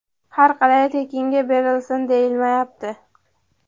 har qalay tekinga berilsin deyilmayapti.